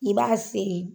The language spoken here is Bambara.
I b'a seri